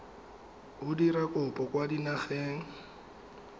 o dira kopo kwa dinageng